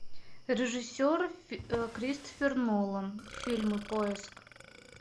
режиссер кристофер нолан фильмы поиск